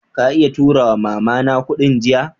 Ka iya tura ma'mama na kudin jiya?